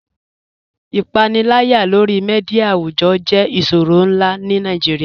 Ipànìlàyà lórí mídia àwùjọ̀ jẹ̀ ìṣòrọ̀ nlá ní Nàìjíríà.